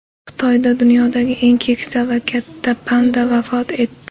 Xitoyda dunyodagi eng keksa va katta panda vafot etdi.